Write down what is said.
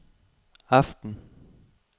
aften